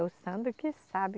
É o Sandro que sabe.